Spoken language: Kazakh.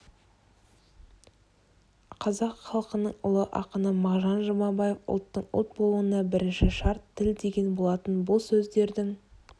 қазақ халқының ұлы ақыны мағжан жұмабаев ұлттың ұлт болуына бірінші шарт тіл деген болатын бұл сөздердің